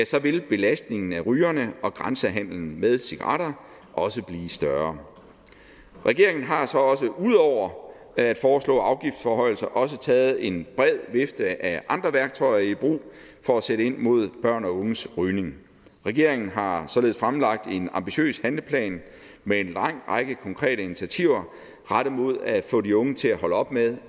så vil belastningen af rygerne og grænsehandelen med cigaretter også blive større regeringen har så ud over at foreslå afgiftsforhøjelser også taget en bred vifte af andre værktøjer i brug for at sætte ind mod børn og unges rygning regeringen har således fremlagt en ambitiøs handleplan med en lang række konkrete initiativer rettet mod at få de unge til at holde op med